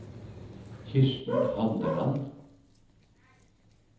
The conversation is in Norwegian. Kirsten Handeland